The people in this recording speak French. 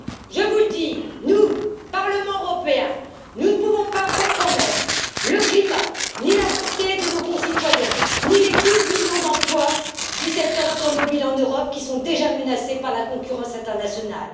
Je vous le dis, nous, Parlement européen, nous ne pouvons pas compromettre le climat, ni la santé de nos concitoyens, ni les 12 millions d'emplois du secteur automobile en Europe qui sont déjà menacés par la concurrence internationale.